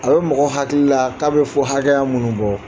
A bɛ mɔgɔ hakili la k'a bɛ fɔ hakɛya minnu bɔ